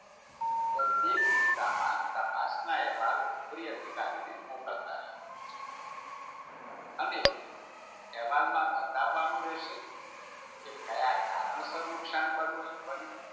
તો તે કિસ્સામાં તપાસનારાએ એવા ઉપરી અધિકારને મોકલતા રહેવાનું છે. અને અહેવાલમાં બતાવવાનું રહેશે કે ક્યાં કારણસર નુકસાન બન્યું